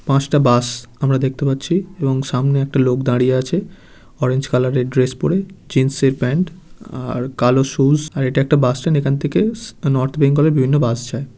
পাঁচটা বাস আমরা দেখতে পাচ্ছি এবং সামনে একটা লোক দাঁড়িয়ে আছে অরেঞ্জ কালার -এর ড্রেস পরে জিন্স -এর প্যান্ট অ-আর কালো সুস আর এটা একটা বাস স্ট্যান্ড এখান থেকে স নর্থ বেঙ্গল -এর বিভিন্ন বাস যায়।